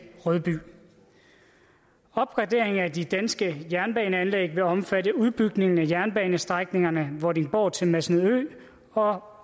rødby opgraderingen af de danske jernbaneanlæg vil omfatte udbygningen af jernbanestrækningerne vordingborg til masnedø og